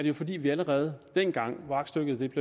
jo fordi vi allerede dengang da aktstykket